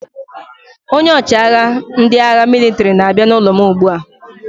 Onye ọchịagha ndị agha mịlịtrị na-abịa n'ụlọ m ugbu a.